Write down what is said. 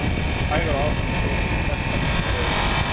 Hægar og ákveðnar strokur eru bestar nema beðið sé um annað.